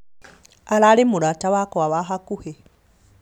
ararĩ mũrata wakwa wa hakuhĩ